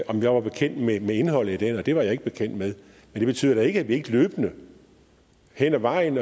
om jeg var bekendt med indholdet af den og det var jeg ikke bekendt med men det betyder da ikke at jeg ikke løbende hen ad vejen